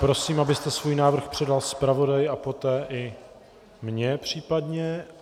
Prosím, abyste svůj návrh předal zpravodaji a poté i mně případně.